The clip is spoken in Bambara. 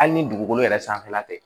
Hali ni dugukolo yɛrɛ sanfɛla tɛ